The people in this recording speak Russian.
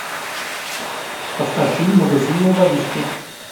поставь фильм магазинные воришки